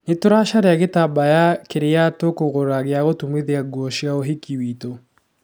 Nĩtũracaria gĩtambaya kĩrĩa tũkũgũra gia gũtumithia nguo cia ũhiki witũ.